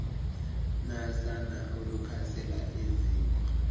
nasana olukhasela eziko